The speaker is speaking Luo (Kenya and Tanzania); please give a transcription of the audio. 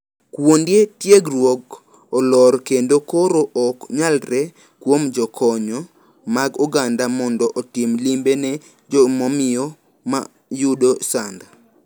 Kuonde tiegruok olor kend koro ok nyalre kuom jokony mag oganda mondo otim limbe ne jomamiyo ma yudo sand.